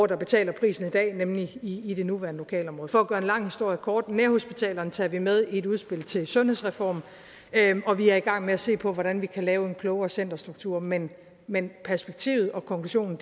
der betaler prisen i dag nemlig i i det nuværende lokalområde for at gøre en lang historie kort nærhospitalerne tager vi med i et udspil til en sundhedsreform og vi er i gang med at se på hvordan vi kan lave en klogere centerstruktur men men perspektivet og konklusionen